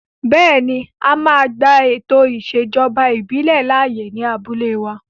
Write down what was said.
Bẹ́ẹ̀ni, a máa gba ètò ìṣèjọba ìbílẹ̀ láàyè ní abúlé wa